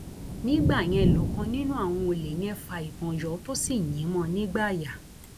nígbà yẹn lọkàn nínú àwọn olè yẹn fa ìbọn yọ tó sì yìn ín mọ ọ nígbáàyà